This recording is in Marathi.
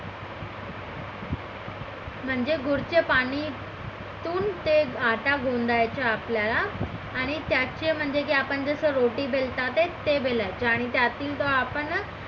म्हणजे गुळ चे पाणी तुण ते आटा बोलायचं आपल्याल आणि त्याचे म्हणजे की जसा आपण रोटी बेलतात तेच ते बोलायचं आणि त्यातील